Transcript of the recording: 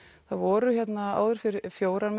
það voru áður fyrr fjórir